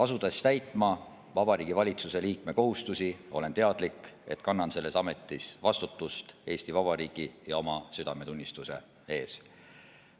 Asudes täitma Vabariigi Valitsuse liikme kohustusi, olen teadlik, et kannan selles ametis vastutust Eesti Vabariigi ja oma südametunnistuse ees.